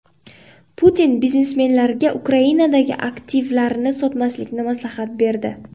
Putin biznesmenlarga Ukrainadagi aktivlarini sotmaslikni maslahat berdi.